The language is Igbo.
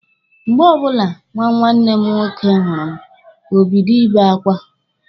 Mgbe ọbụla nwa nwanne m nwoke hụrụ m, o bido Ị be akwa.